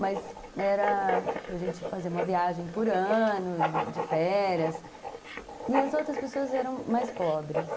Mas era, tipo, a gente fazer uma viagem por ano, de férias, e as outras pessoas eram mais pobres.